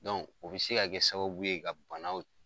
o bi se ka kɛ sababu ye ka banaw